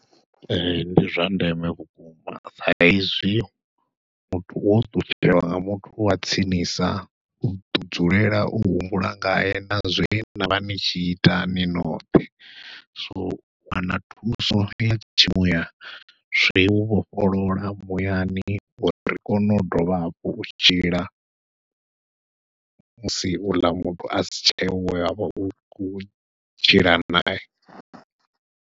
Ee ndi zwa ndeme vhukuma sa ezwi muthu wo ṱutshelwa nga muthu wa tsinisa uḓo dzulela u humbula ngae na zwe navha ni tshi ita ni noṱhe, so u wana thuso ya tshimuya zwi u vhofholola muyani uri ri kone u dovha hafhu u tshila musi u ḽa muthu a si tsheho we wavha u khou tshila nae.